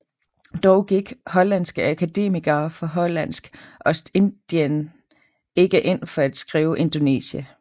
Dog gik hollandske akademikere fra Hollandsk Ostindien ikke ind for at skrive Indonesia